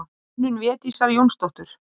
Hönnun Védísar Jónsdóttur.